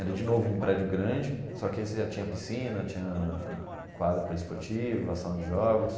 Era, de novo, um prédio grande, só que esse já tinha piscina, tinha quadra para esportiva, ação de jogos.